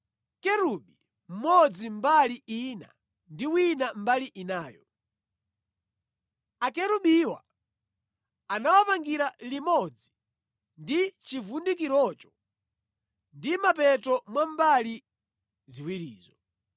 kerubi mmodzi mbali ina ndi wina mbali inayo. Akerubiwa uwapangire limodzi ndi chivundikirocho mʼmapeto mwa mbali ziwirizo.